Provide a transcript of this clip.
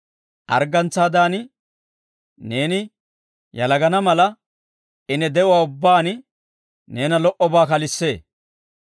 Arggantsaadan neeni yalagana mala, I ne de'uwaa ubbaan neena lo"obaa kalissee.